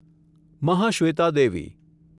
Mahashweta Devi